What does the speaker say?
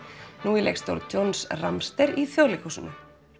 nú í leikstjórn John í Þjóðleikhúsinu